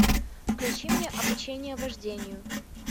включи мне обучение вождению